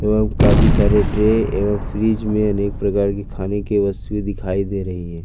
एवं काफी सारे ट्रे एवं फ्रिज में अनेक प्रकार की खाने की वस्तु दिखाई दे रही है।